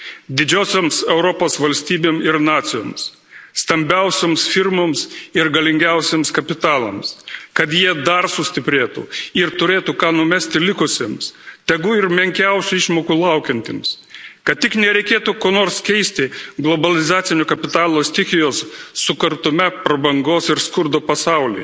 didžiosioms Europos valstybėms ir nacijoms, stambiausioms firmoms ir galingiausiems kapitalams, kad jie dar sustiprėtų ir turėtų ką numesti likusiems, tegu ir menkiausių išmokų laukiantiems, kad tik nereikėtų ko nors keisti globalizacinio kapitalo stichijos sukurtame prabangos ir skurdo pasaulyje,